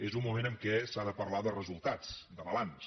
és un moment en què s’ha de parlar de resultats de balanç